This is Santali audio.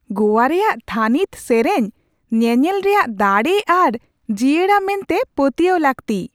ᱜᱳᱭᱟ ᱨᱮᱭᱟᱜ ᱛᱷᱟᱹᱱᱤᱛ ᱥᱮᱨᱮᱧ ᱧᱮᱱᱮᱞ ᱨᱮᱭᱟᱜ ᱫᱟᱲᱮ ᱟᱨ ᱡᱤᱭᱟᱹᱲᱟ ᱢᱮᱱᱛᱮ ᱯᱟᱹᱛᱭᱟᱹᱣ ᱞᱟᱹᱠᱛᱤ ᱾